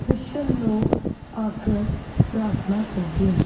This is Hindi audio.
क्रिशचन लोग आकर प्रार्थना करते --